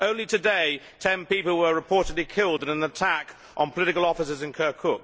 Only today, ten people were reportedly killed in an attack on political offices in Kirkuk.